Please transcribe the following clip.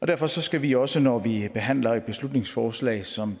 derfor skal vi også når vi behandler et beslutningsforslag som